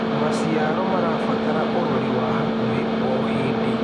Macĩaro marabatara ũrorĩ wa hakũhĩ o hĩndĩ